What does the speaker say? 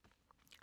DR K